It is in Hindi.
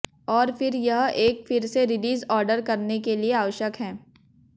और फिर यह एक फिर से रिलीज ऑर्डर करने के लिए आवश्यक है